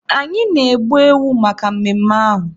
Anyị na-egbu ewu maka mmemme ahụ.